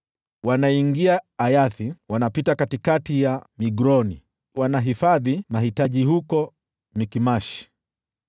Wanaingia Ayathi, wanapita katikati ya Migroni, wanahifadhi mahitaji huko Mikmashi.